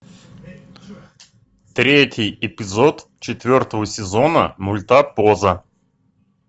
третий эпизод четвертого сезона мульта поза